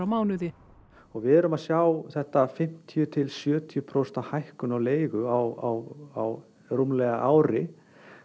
mánuði og við erum að sjá þetta fimmtíu til sjötíu prósent hækkun á leigu á rúmlega ári